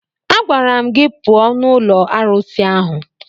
Agwara m gị pụọ n'ụlọ arụsị ahụ!